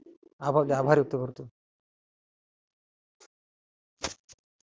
आभार आभार व्यक्त करतो.